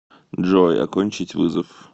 джой окончить вызов